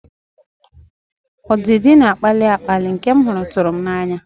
Ọdịdị na-akpali akpali nke m hụrụ tụrụ tụrụ m n'anya.